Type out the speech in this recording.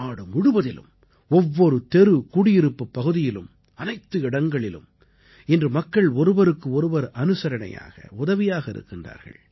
நாடு முழுவதிலும் ஒவ்வொரு தெருகுடியிருப்புப் பகுதியிலும் அனைத்து இடங்களிலும் இன்று மக்கள் ஒருவருக்கு ஒருவர் அனுசரணையாக உதவியாக இருக்கிறார்கள்